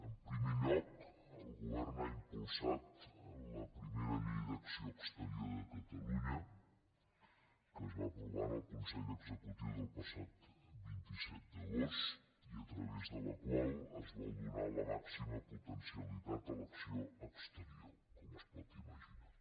en primer lloc el govern ha impulsat la primera llei d’acció exterior de catalunya que es va aprovar en el consell executiu del passat vint set d’agost i a través de la qual es vol donar la màxima potencialitat a l’acció exterior com es pot imaginar